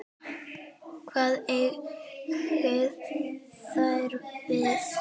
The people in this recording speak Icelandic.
Hvað eigið þér við?